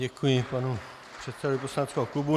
Děkuji panu předsedovi poslaneckého klubu.